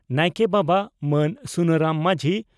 ᱱᱟᱭᱠᱮ ᱵᱟᱵᱟ ᱢᱟᱱ ᱥᱩᱱᱟᱨᱟᱢ ᱢᱟᱡᱷᱤ